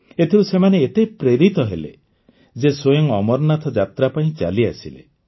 ଏଥିରୁ ସେମାନେ ଏତେ ପ୍ରେରିତ ହେଲେ ଯେ ସ୍ୱୟଂ ଅମରନାଥ ଯାତ୍ରା ପାଇଁ ଚାଲିଆସିଲେ